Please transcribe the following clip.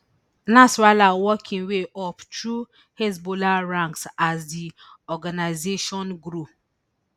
nasrallah work im way up through hezbollah ranks as di organisation grow